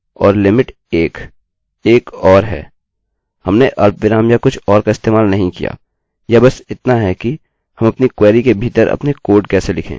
हमने अल्पविराम या कुछ और का इस्तेमाल नहीं किया यह बस इतना है कि हम अपनी क्वेरी के भीतर अपने कोड कैसे लिखें